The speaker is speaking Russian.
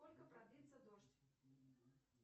сколько продлится дождь